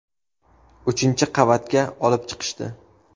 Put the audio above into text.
Uchinchi qavatga olib chiqishdi.